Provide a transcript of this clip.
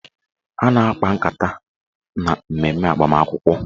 A na-akpa nkata na mmemme agbamakwụkwọ